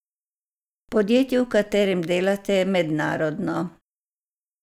Podjetje, v katerem delate, je mednarodno.